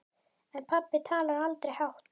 En pabbi talaði aldrei hátt.